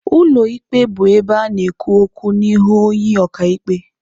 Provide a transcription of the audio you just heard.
Ụlọ ikpe bụ ebe a na-ekwu okwu n'ihu onye ọka ikpe.